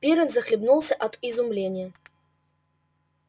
пиренн захлебнулся от изумления